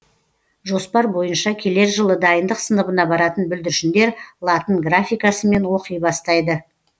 жоспар бойынша келер жылы дайындық сыныбына баратын бүлдіршіндер латын графикасымен оқи бастайды